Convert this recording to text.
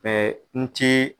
n ti